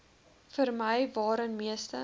vermy waarin meeste